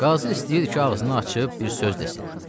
Qazı istəyir ki, ağzını açıb bir söz desin.